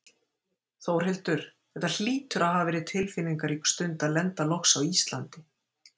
Þórhildur, þetta hlýtur að hafa verið tilfinningarík stund að lenda loks á Íslandi?